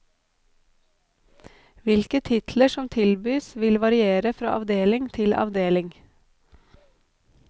Hvilke titler som tilbys vil variere fra avdeling til avdeling.